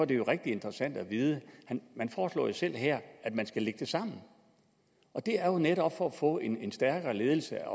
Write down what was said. det jo rigtig interessant at vide man foreslår selv her at man skal lægge det sammen og det er jo netop for at få en en stærkere ledelse